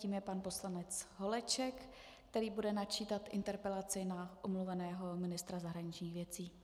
Tím je pan poslanec Holeček, který bude načítat interpelaci na omluveného ministra zahraničních věcí.